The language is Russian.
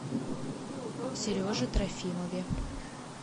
сереже трофимове